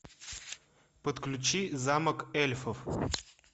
подключи замок эльфов